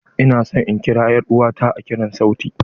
Ina son in kira er'uwa ta a kiran sauti.